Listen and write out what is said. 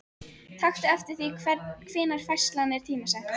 Taktu eftir því hvenær færslan er tímasett.